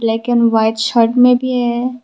White shirt में भी है।